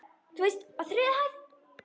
Þú veist- á þriðju hæð.